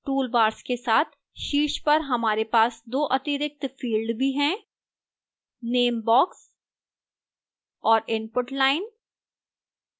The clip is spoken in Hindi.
toolbars के साथ शीर्ष पर हमारे पास दो अतिरिक्त fields भी हैं name box और input line